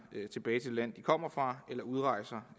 tilbage til det land de kommer fra eller udrejser